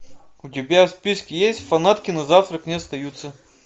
у тебя в списке есть фанатки на завтрак не остаются